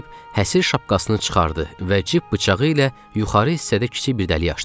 deyib həsiri şapkasını çıxartdı və cib bıçağı ilə yuxarı hissədə kiçik bir dəlik açdı.